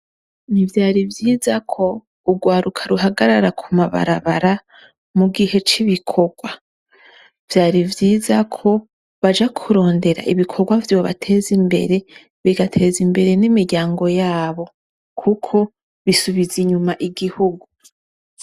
Nti vyari vyiza ko urwaruka ruhagarara ku mabarabara mu gihe c'ibikorwa. Vyari vyiza ko baja kurondera ibikorwa vyobateza imbere, bigateza imbere n'imiryango yabo, kuko bisubiza inyuma igihugu.